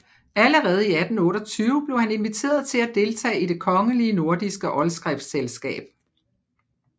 Allerede i 1828 blev han inviteret til at deltage i Det kongelige Nordiske Oldskriftselskab